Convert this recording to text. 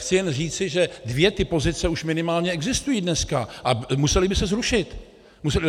Chci jen říci, že dvě ty pozice už minimálně existují dneska a musely by se zrušit.